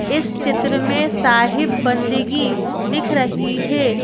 इस चित्र में साहिब बंदगी दिख रही है।